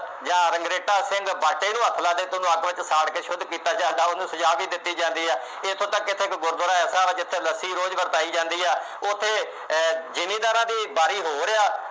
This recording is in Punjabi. ਜਾਂ ਰੰਘਰੇਟਾ ਸਿੰਘ ਬਾਟੇ ਨੂੰ ਹੱਥ ਲਾ ਜਾਏ ਤਾਂ ਉਹਨੂੰ ਅੱਗ ਵਿੱਚ ਸਾੜ ਕੇ ਸ਼ੁੱਧ ਕੀਤਾ ਜਾਂਦਾ, ਉਹਨੂੰ ਸਜ਼ਾ ਵੀ ਦਿੱਤੀ ਜਾਂਦੀ ਹੈ। ਇੱਥੋਂ ਤੱਕ ਇੱਥੇ ਇੱਕ ਗੁਰਦੁਆਰਾ ਐਸਾ ਹੈ ਜਿੱਥੇ ਲੱਸੀ ਰੋਜ਼ ਵਰਤਾਈ ਜਾਂਦੀ ਹੈ। ਉੱਥੇ ਅਹ ਜਿਮੀਂਦਾਰਾਂ ਦੀ ਵਾਰੀ ਹੋਰ ਹੈ।